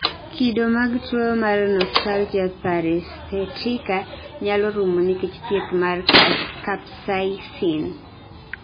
kido mag tuwo mar notalgia paresthetica nyalo rumo nikech thieth mar capsaicin